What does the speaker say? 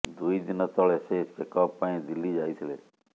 ଦୁଇ ଦିନ ତଳେ ସେ ଚେକ୍ଅପ୍ ପାଇଁ ଦିଲ୍ଲୀ ଯାଇଥିଲେ